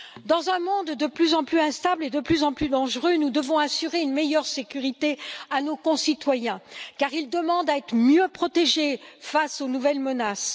Dans un monde de plus en plus instable et de plus en plus dangereux, nous devons assurer une meilleure sécurité à nos concitoyens, car ils demandent à être mieux protégés face aux nouvelles menaces.